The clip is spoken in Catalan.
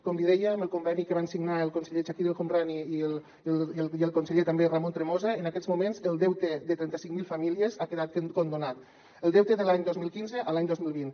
com li deia amb el conveni que van signar el conseller chakir el homrani i el conseller també ramon tremosa en aquests moments el deute de trenta cinc mil famílies ha quedat condonat el deute de l’any dos mil quinze a l’any dos mil vint